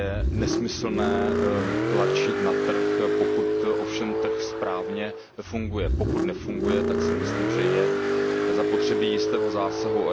Je nesmyslné tlačit na trh, pokud ovšem trh správně funguje. Pokud nefunguje, tak si myslím, že je zapotřebí jistého zásahu.